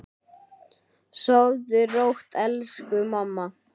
Börn hennar eru tvö.